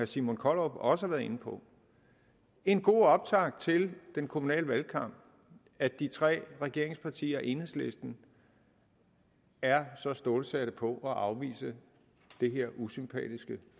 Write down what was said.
simon kollerup også har været inde på en god optakt til den kommunale valgkamp at de tre regeringspartier og enhedslisten er så stålsatte på at afvise det her usympatiske